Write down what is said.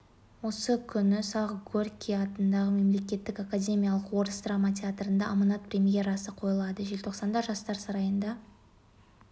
осы күні сағ горький атындағы мемлекеттік академиялық орыс драма театрында аманат премьерасы қойылады желтоқсанда жастар сарайында